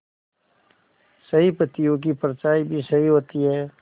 सही पत्तियों की परछाईं भी सही होती है